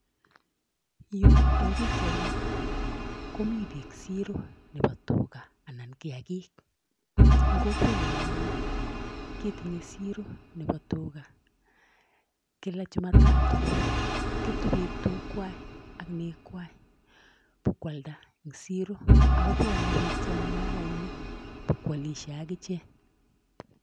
Yu eng pikchaini komi piik siro nebo tuga anan kiagik, eng kokwenyo anyun ketinye siro nebo tuga kila jumatatu, ketu piik tugwai ak negwai bo kwalda eng siro, ak kobwone piik chemungarainik bo kwolisie ak ichek.